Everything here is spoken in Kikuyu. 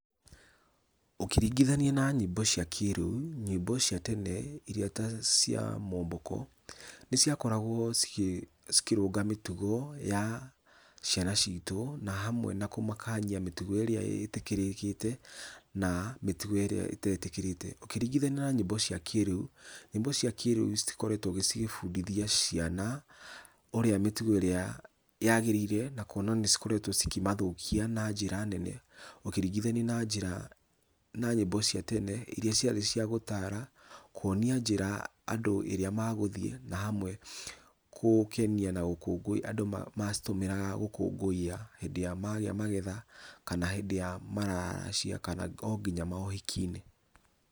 Ũkĩringithania na nyĩmbo cia kĩrĩũ, nyĩmbo cia tene iria ta cia mwomboko, nĩciakoragwo cikĩrũnga mĩtugo ya ciana citũ na hamwe na kũmakania mĩtugo ĩria ĩtĩkĩrĩkĩte na mĩtũgo ĩria ĩtetĩkĩrĩte. Ũkĩringithania na mĩtũgo ya kĩrĩũ, nyĩmbo cia kĩrĩũ citikoretwo cigĩbundithia ciana ũrĩa mĩtugo ĩrĩa yagĩrĩire nakũona nĩcikoretwo cikĩmathũkia na njĩra nene ũkĩringithania na njĩra na nyĩmbo cia tene iria ciarĩ cia gũtara, kũonia njĩra andũ ĩrĩa magũthiĩ na hamwe kũukenia nagũkũngũĩra andũ macitũmagĩra gũkũngũiya hĩndĩ ya magĩa magetha kana hĩndĩ ya mararacia kana onginya maũhiki-inĩ.